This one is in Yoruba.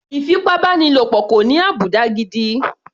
Ìfipábánilo kò ní àbùdá gidi.